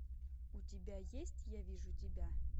у тебя есть я вижу тебя